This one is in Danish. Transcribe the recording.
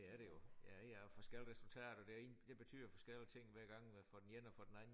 Det er det jo ja ja og forskellige resultater deri det betyder forskellige ting hver gang hvad får den ene og den anden